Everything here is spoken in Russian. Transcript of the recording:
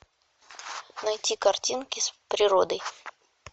найти картинки с природой